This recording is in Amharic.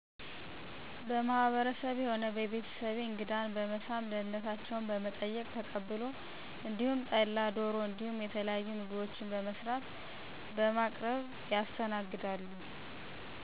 በማህበረሰቤ ሆነ በቤተሰቤ እንግዳን በመሳም ደህንነታቸው በመጠየቅ ተቀብሎ እንዲሁም ጠላ ዶሮ እንዲሁም የተለያዩ ምግቦችን በመስራት በማቅረብ ይጋራል።